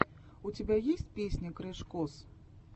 у тебя есть песня крэш кос